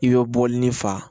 I bɛ bɔlini fa